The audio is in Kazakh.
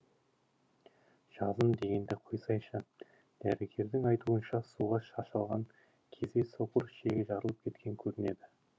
жазым дегенді қойсайшы дәрігердің айтуынша суға шашалған кезде соқыр ішегі жарылып кеткен көрінеді